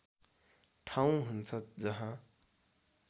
ठाउँ हुन्छ जहाँ